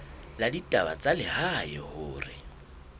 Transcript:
la ditaba tsa lehae hore